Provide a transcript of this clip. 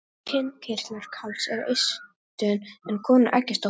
Kynkirtlar karls eru eistun en konu eggjastokkarnir.